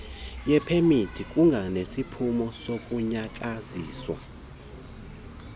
yepemithi kunganeziphumo zokunqunyanyiswa